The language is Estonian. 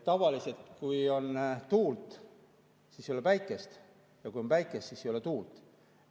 Tavaliselt, kui on tuult, siis ei ole päikest, ja kui on päikest, siis ei ole tuult.